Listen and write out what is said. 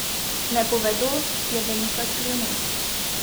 Ne povedo, je velika skrivnost.